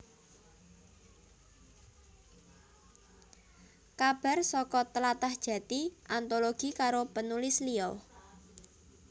Kabar saka Tlatah Jati antologi karo penulis liya